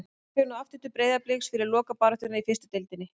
Hann fer nú aftur til Breiðabliks fyrir lokabaráttuna í fyrstu deildinni.